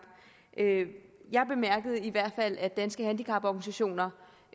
jeg bemærkede i hvert fald at danske handicaporganisationer